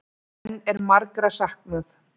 Enn er margra saknað